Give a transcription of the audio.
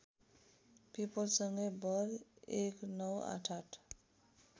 पिपलसँगै बर १९८८